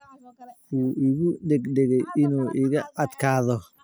Wuu igu degdegay inuu iga adkaado